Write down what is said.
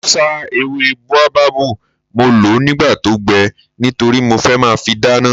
Mo sá ewé bóábábù, mo lọ̀ọ́ nígbà tó gbẹ nítorí mo fẹ́ máa fi dáná